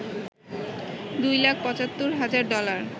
দুই লাখ ৭৫ হাজার ডলার